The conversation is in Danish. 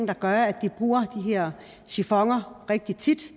der gør at de bruger de her sifoner rigtig tit